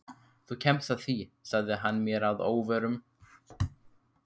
Þú kemst að því sagði hann mér að óvörum.